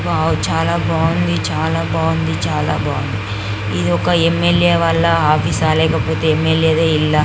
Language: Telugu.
వావ్ చాలా బాగుంది చాలా బాగుంది చాల బాగుంది. ఇది ఒక ఏం.మెల్.ఏ. వాళ్ళ ఆఫీస్ ఆ లేకపోతే ఏం.మెల్.ఏ. గా ఇల్లా.